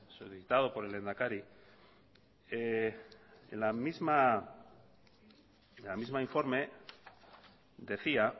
solicitado por el lehendakari el mismo informe decía